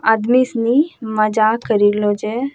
आदमी सनि मजाक करि रलौ छे।